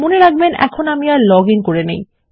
মনে রাখবেন আমি এখন লগ ইন করে নেই